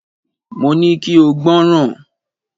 Mo ní kí o gbọ́ràn!